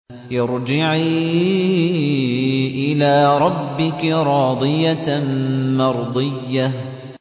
ارْجِعِي إِلَىٰ رَبِّكِ رَاضِيَةً مَّرْضِيَّةً